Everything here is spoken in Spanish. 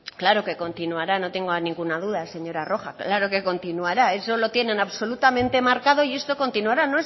claro que continuará no tengo ninguna duda señora rojo claro que continuará eso lo tienen absolutamente marcado y esto continuará